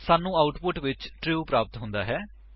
ਸਾਨੂੰ ਆਉਟਪੁਟ ਵਿੱਚ ਟਰੂ ਪ੍ਰਾਪਤ ਹੁੰਦਾ ਹੈ